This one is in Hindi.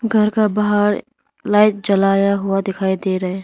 घर का बाहर लाइट जलाया हुआ दिखाई दे रहा है।